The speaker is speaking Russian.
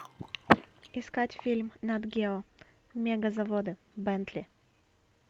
искать фильм нат гео мегазаводы бентли